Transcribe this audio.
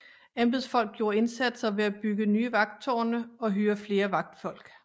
Embedsfolk gjorde indsatser ved at bygge nye vagttårne og hyre flere vagtfolk